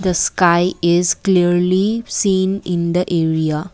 sky is clearly seen in the area.